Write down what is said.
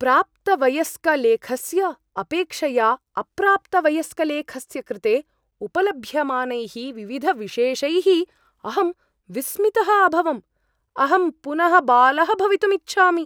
प्राप्तवयस्कलेखस्य अपेक्षया अप्राप्तवयस्कलेखस्य कृते उपलभ्यमानैः विविधविशेषैः अहम् विस्मितः अभवम्, अहं पुनः बालः भवितुम् इच्छामि!